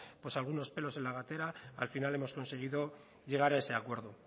pues algunos pelos en la gatera al final hemos conseguido llegar a ese acuerdo